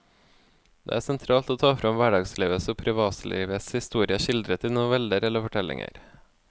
Det er sentralt å ta frem hverdagslivets og privatlivets historie skildret i noveller eller fortellinger.